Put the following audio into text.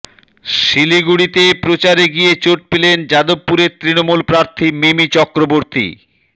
শিলিগুড়িতে প্রচারে গিয়ে চোট পেলেন যাদবপুরের তৃণমূলপ্রার্থী মিমি চক্রবর্তী